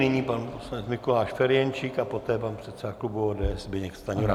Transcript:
Nyní pan poslanec Mikuláš Ferjenčík a poté pan předseda klubu ODS Zbyněk Stanjura.